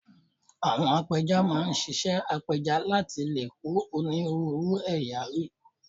Àwọn apẹja máa ń ṣiṣẹ́ apẹja láti lè kó onírúurú ẹ̀yà rí